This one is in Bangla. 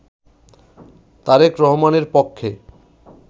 তারেক রহমানের পক্ষে